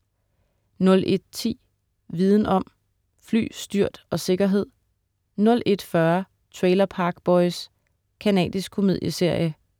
01.10 Viden om: Fly, styrt og sikkerhed* 01.40 Trailer Park Boys. Canadisk komedieserie